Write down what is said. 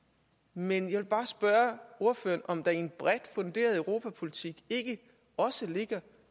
men jeg vil bare spørge ordføreren om der i en bredt funderet europapolitik ikke også ligger